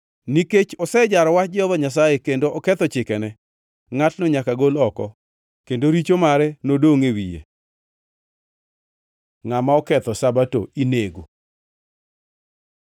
Nikech osejaro wach Jehova Nyasaye kendo oketho chikene, ngʼatno nyaka gol oko; kendo richo mare nodongʼ e wiye.’ ” Ngʼama oketho Sabato inego